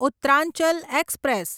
Uttaranchal express